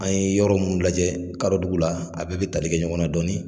An ye yɔrɔ mun lajɛ kadɔdugu la a bɛɛ bɛ tali kɛ ɲɔgɔn na dɔɔni.